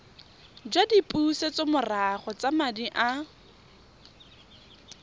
jwa dipusetsomorago tsa madi a